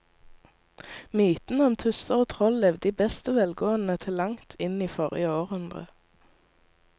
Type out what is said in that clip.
Mytene om tusser og troll levde i beste velgående til langt inn i forrige århundre.